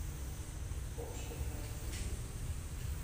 общая картина